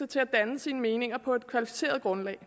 til at danne sine meninger på et kvalificeret grundlag